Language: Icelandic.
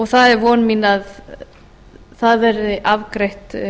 það er von mín að það verði afgreitt